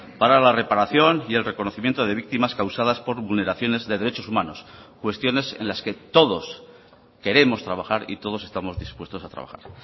para la reparación y el reconocimiento de víctimas causadas por vulneraciones de derechos humanos cuestiones en las que todos queremos trabajar y todos estamos dispuestos a trabajar